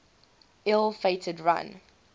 ill fated run